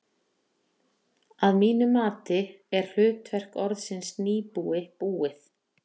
Að mínu mati er hlutverk orðsins nýbúi búið.